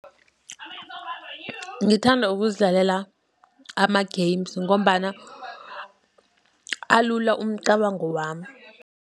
Ngithanda ukuzidlalela ama-games, ngombana alula umcabango wami.